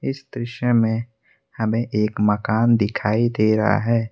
इस दृश्य में हमें एक मकान दिखाई दे रहा है।